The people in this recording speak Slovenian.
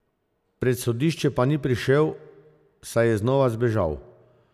Pred sodišče pa ni prišel, saj je znova zbežal.